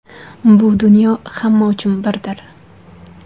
Bu dunyo hamma uchun birdir.